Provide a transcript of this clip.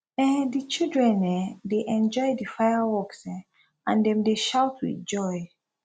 um di children um dey enjoy di fireworks um and dem dey shout with joy